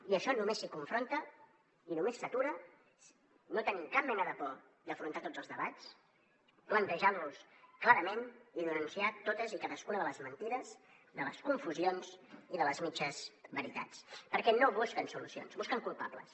i això només es confronta i només s’atura no tenint cap mena de por d’afrontar tots els debats plantejar los clarament i denunciar totes i cadascuna de les mentides de les confusions i de les mitges veritats perquè no busquen solucions busquen culpables